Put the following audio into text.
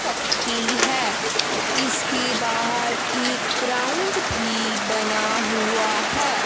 शक्ति है इसकी बाहर एक ग्राउंड भी बन हुआ है।